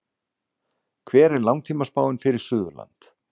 hver er langtímaspáin fyrir suðurland